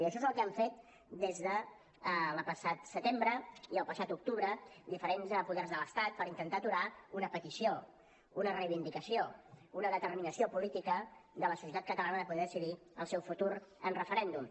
i això és el que han fet des del passat setembre i el passat octubre diferents poders de l’estat per intentar aturar una petició una reivindicació una determinació política de la societat catalana de poder decidir el seu futur en referèndum